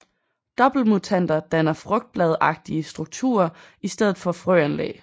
Doppeltmutanter danner frugtbladagtige strukturer i stedet for frøanlæg